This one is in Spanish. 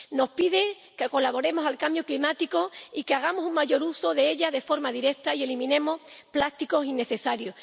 Nos pide que colaboremos en la mitigación del cambio climático y que hagamos un mayor uso de ella de forma directa y eliminemos plásticos innecesarios.